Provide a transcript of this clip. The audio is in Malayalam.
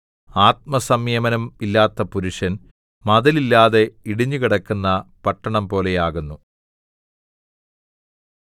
ആത്മസംയമനം ഇല്ലാത്ത പുരുഷൻ മതിൽ ഇല്ലാതെ ഇടിഞ്ഞുകിടക്കുന്ന പട്ടണംപോലെയാകുന്നു